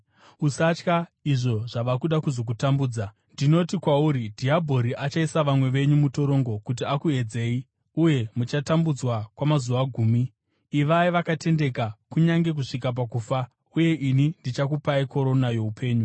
Usatya izvo zvava kuda kuzokutambudza. Ndinoti kwauri, dhiabhori achaisa vamwe venyu mutorongo kuti akuedzei, uye muchatambudzwa kwamazuva gumi. Ivai vakatendeka, kunyange kusvika pakufa, uye ini ndichakupai korona youpenyu.